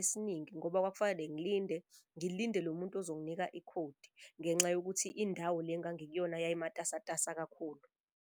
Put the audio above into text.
esiningi ngoba kwakufanele ngilinde, ngilinde lo muntu ozonginika ikhodi ngenxa yokuthi indawo le engangikuyona yayimatasatasa kakhulu.